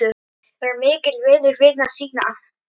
Var mikill vinur vina sína.